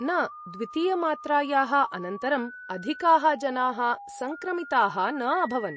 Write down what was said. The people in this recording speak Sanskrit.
न, द्वितीयमात्रायाः अनन्तरम् अधिकाः जनाः सङ्क्रमिताः न अभवन्।